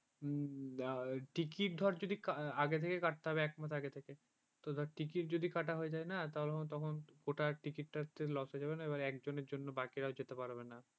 ticket ধর যদি আগে থেকে কাটতে হয় একমাস আগে থেকে তোর ticket যদি কাটা হয়ে যায় না ওটা ticket তে loss হয়ে যাবে না একজনের জন্য বাকিরা যেতে পারবে না